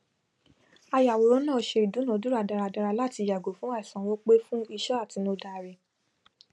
àyàwòrán náà se ìdúnàádúrà dáradára láti yàgò fún àìsanwó pe fún iṣẹ àtinúdá rẹ